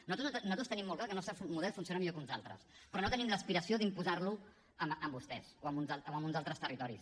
nosaltres tenim molt clar que el nostre model funciona millor que uns altres però no tenim l’aspiració d’imposar lo a vostès o a uns altres territoris